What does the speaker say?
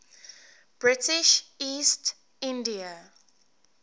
british east india